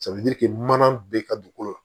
mana bɛ ka dugukolo la